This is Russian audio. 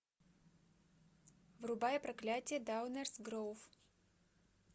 врубай проклятье даунерс гроув